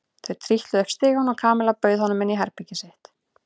Þau trítluðu upp stigann og Kamilla bauð honum inn í herbergið sitt.